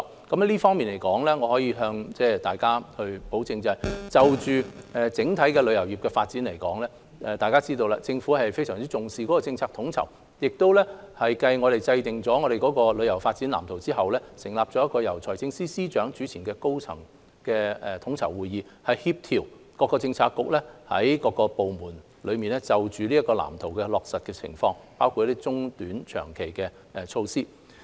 這方面我可以向大家保證，在整體旅遊業發展方面，大家都知道政府非常重視政策統籌，而繼我們制訂了《香港旅遊業發展藍圖》後，亦成立了一個由財政司司長主持的高層統籌會議，以協調各政策局及各部門落實該藍圖的情況，包括短、中、長期措施。